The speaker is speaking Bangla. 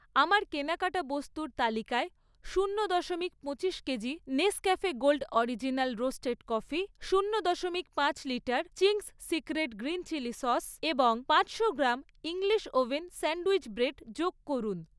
আমার কেনাকাটা বস্তুর তালিকায় শূন্য দশমিক পঁচিশ KG Nescafe gold original roasted coffee, শূন্য দশমিক পাঁচ litre Ching's secret green chilli sauce এবং পাঁচশো gram English oven sandwich bread যোগ করুন